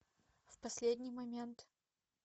в последний момент